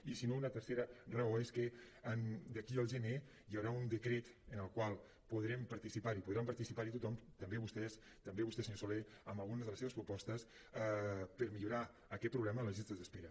i si no una tercera raó és que d’aquí al gener hi haurà un decret en el qual podrem participar hi podrà participar hi tothom també vostès també vostè senyor soler amb alguna de les seves propostes per millorar aquest problema les llistes d’espera